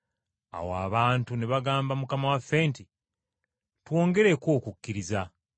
Awo abatume ne bagamba Mukama waffe nti, “Twongereko okukkiriza.”